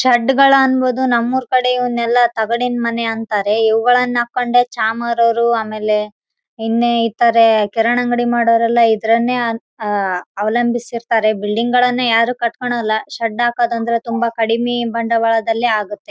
ಮರಗಳು ನಮ್ಮ ಅಕ್ಕ ಪಕ್ಕ ತುಂಬಾ ಮರ ಇದೆ ನಮ್ಮ ಜಾಗಗಳಲ್ಲಿ ಮರ ಇದ್ರೆ ತುಂಬಾ ಅನುಕೂಲನೇ ಎಲ್ಲ ಬೀಳುತ್ತೆ ಗಾಳಿ ಬಂದ್ರೆ ಒಂದು ಚುರ್ ಡೆಂಜರ್ .